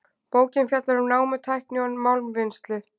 Bókin fjallar um námutækni og málmvinnslu.